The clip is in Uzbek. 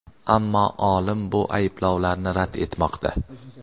Ammo olim bu ayblovlarni rad etmoqda.